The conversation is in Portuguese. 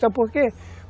Sabe por quê?